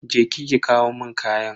Je ki ki kawo mun kayan.